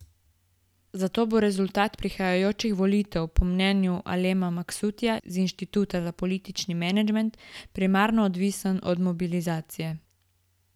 Zato bo rezultat prihajajočih volitev po mnenju Alema Maksutija z Inštituta za politični menedžment primarno odvisen od mobilizacije.